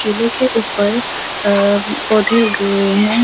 किले के उप्पर अ-अ पौधे उग्गे हुएँ हैं।